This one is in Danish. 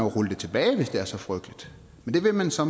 rulle det tilbage hvis det er så frygteligt men det vil man så